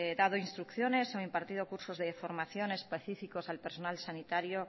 dado instrucciones o impartido cursos de formación específicos al personal sanitario